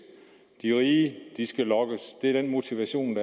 de rige skal lokkes det er den motivation